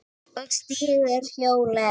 Og stígur hjólið.